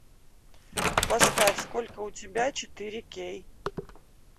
поставь сколько у тебя четыре кей